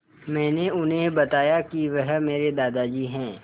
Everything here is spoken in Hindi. मैंने उन्हें बताया कि वह मेरे दादाजी हैं